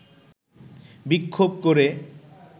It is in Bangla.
বিক্ষোভ করে